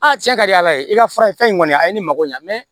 cɛn ka di ala ye i ka fura ye fɛn kɔni ye a ye ne mako ɲɛ mɛ